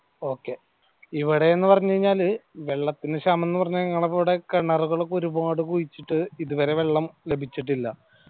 okay ഇവിടെ ന്നു പറഞ്ഞാല് വെള്ളത്തിന് ക്ഷാമം എന്ന് പറഞ്ഞ നിങ്ങടെ പോലെ കിണറുകളൊക്കെ ഒരുപാട് കുഴിച്ചിട്ട് ഇതുവരെ വെള്ളം ലഭിച്ചിട്ടില്ല